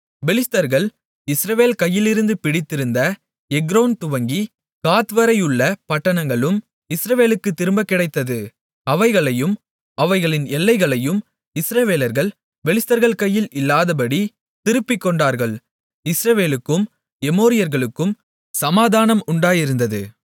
பெலிஸ்தர்கள் இஸ்ரவேல் கையிலிருந்து பிடித்திருந்த எக்ரோன் துவங்கிக் காத்வரை உள்ள பட்டணங்களும் இஸ்ரவேலுக்குத் திரும்பக் கிடைத்தது அவைகளையும் அவைகளின் எல்லைகளையும் இஸ்ரவேலர்கள் பெலிஸ்தர்கள் கையில் இல்லாதபடி திருப்பிக்கொண்டார்கள் இஸ்ரவேலுக்கும் எமோரியர்களுக்கும் சமாதானம் உண்டாயிருந்தது